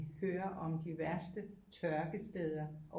Hører om de værste tørkesteder